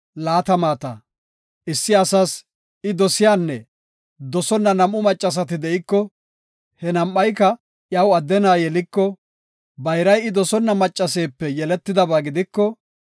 Issi asas I dosiyanne dosonna nam7u macheti de7iko, he nam7ayka iyaw adde na7a yeliko, bayray I dosonna macceepe yeletidaba gidiko,